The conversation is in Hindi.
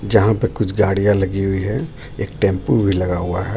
जहां पे कुछ गाड़ियां लगी हुई है एक टेंपो भी लगा हुआ है.